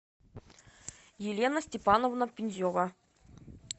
елена степановна пензева